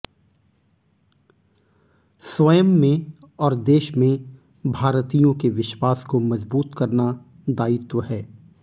स्वयं में और देश में भारतीयों के विश्वास को मजबूत करना दायित्व है